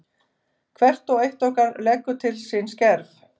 Hvert og eitt okkar leggur til sinn skerf.